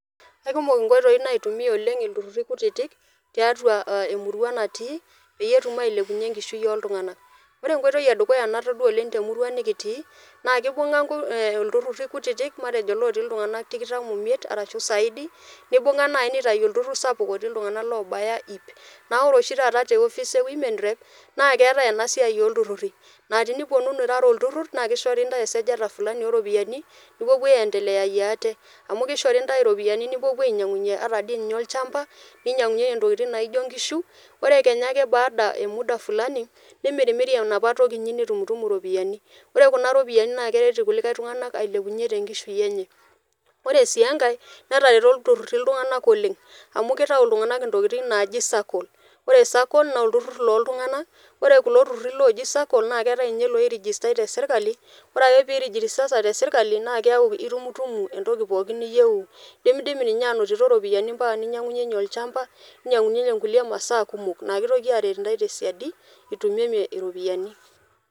Eikumok oleng nkoitoi naitumiya ilturruri kutitk tiatua emurua natii pee etum ailepunye enkishui ooltunganak ,ore enkoitoi e dukuya natodua oleng te emurua nikitii naa keibunga ilturruri kutitk matejo ilootii iltungana tikitam omiet arashu saidi neibunga naaji neitayu olturrur sapuk matejo naaji oloti iltungana iip ,naa ore oshi taa te office e women Rep naa keetae ena siai oo ilturruri, naa tinipuonunu irara olturrurr naa keishori ntae esajata fulani oo ropiyiani nipuopuo aendelayayie ate, amu keishori ntae ropiyiani nipuopuo ainyangunyie ata dii ninye olchamba ,ninyangunyienyie ntokitin naijo nkishu ore kenya ake baada e muda fulani nimirimri enapa toki inyi nitumutumu ropiyiani ore kuna ropiyiani naa keret ilkulie tungana ailepunye tenkishui enye ,ore sii enkae netareto ilturruri iltunganak oleng amu keyau iltunganak entoki naji circle ,ore circle naa iltungana, ore kulo turruri looji circle naa keetae ninye loirijistai te serkali ore pee irijistata te serkali naa keeku itumutumu entoki pookin niyieuu ,indimidimi ninye aanoto ropiyiani ampaka ninyangunyieyie olchamba ninyangunyieyie kulie masaa kumok naa keitoki aaret ntae tesiadi itumimie ropiyiani.